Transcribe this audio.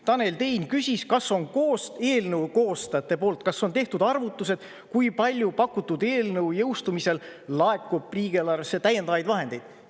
Tanel Tein küsis, kas on eelnõu koostajate poolt tehtud arvutused, kui palju pakutud eelnõu jõustumisel laekub riigieelarvesse täiendavaid vahendeid.